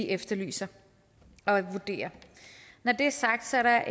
efterlyser og vurderer når det er sagt er der